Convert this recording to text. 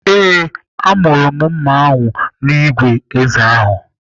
Ee, amụrụ mma ahụ n'igwe ézé ahụ.